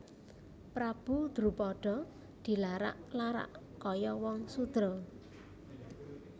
Prabu Drupada dilarak larak kaya wong sudra